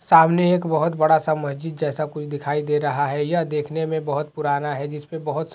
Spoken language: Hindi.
सामने एक बहुत बड़ा सा मस्जिद जेसा कुछ दिखाई दे रहा हैयह देखने में बहुत पुराना है जिसपे बहुत --